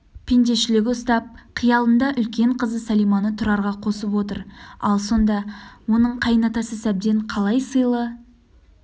пендешілігі ұстап қиялында үлкен қызы сәлиманы тұрарға қосып отыр ал сонда оның қайынатасы сәбден қалай сыйлы